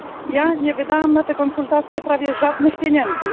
Ja nie wydałam na te konsultacje prawie żadnych pieniędzy.